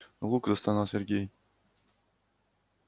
лук застонал сергей